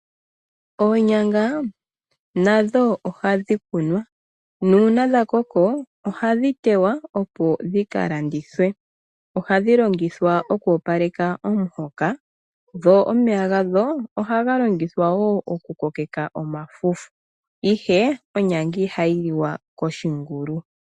Oonyanga nadho ohadhi kunwa nuuna dhakoko ohadhi tewa opo dhikalandithwe, ohadhi longithwa oku opaleka omuhoka dho omeya gadho ohaga longithwa wo oku kokeka omafufu, ihe onyanga ihayi liwa koshingulu.